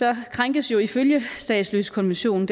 krænkes ifølge statsløsekonventionen